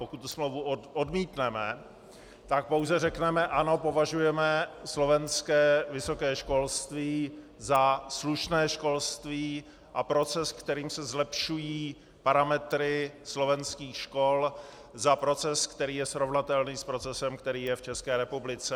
Pokud tu smlouvu odmítneme, tak pouze řekneme: Ano, považujeme slovenské vysoké školství za slušné školství a proces, kterým se zlepšují parametry slovenských škol, za proces, který je srovnatelný s procesem, který je v České republice.